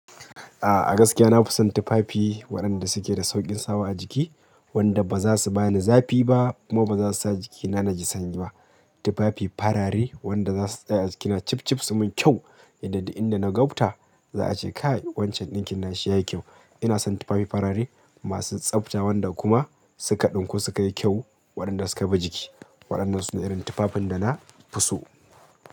A'a, a gaskiya na fi son tufafi waɗanda suke da sauƙin sawa a jiki, wanda ba za su ba ni zafi ba kuma ba za su sa jikina naji sanyi ba. Tufafi farare wanda za su tsaya a jikina cifcif su min kyau, inda idan na gobta za a ce kai wancan ɗinkin nashi yayi kyau. Ina son tufafi farare masu tsafta wanda kuma suka ɗinku suka yi kyau waɗanda suka bi jiki. Waɗannan su ne irin tufafin da na fi so.